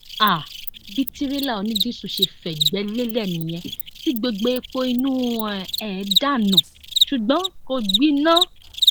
um bí tìrẹlà onídìíṣu ṣe fẹgbẹ lélẹ nìyẹn tí gbogbo epo inú um ẹ dànù ṣùgbọn kò gbiná